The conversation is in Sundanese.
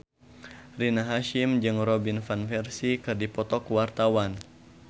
Rina Hasyim jeung Robin Van Persie keur dipoto ku wartawan